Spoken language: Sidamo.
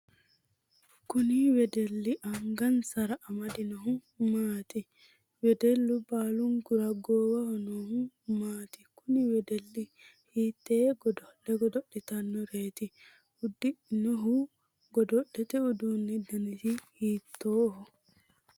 Kunni wedeli angansara amadinohu maati? Wedelu baalunkura goowaho noohu maati? Kunni wedeli hiitee gado'le godo'litanoreeti? Ududhinohu godo'lete uduunni dannasi hiitooho?